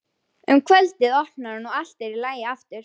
Hvorki var friður né nægileg fjárráð.